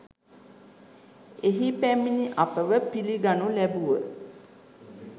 එහි පැමිණි අපව පිළිගනු ලැබුව